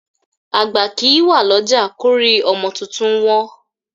Àgbá kì í wà lọ́jà kórí ọmọ tuntun wọ́n.